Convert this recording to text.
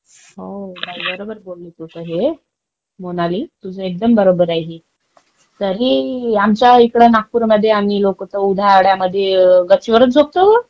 हो बाई, बरोबर बोलली तू तर हे, मोनाली, तुझं एकदम बरोबर आहे हे. तरीही आमच्या इकडे नागपूर मध्ये आम्ही लोक तर उन्हाळ्यामध्ये गच्चीवरच झोपतो बर.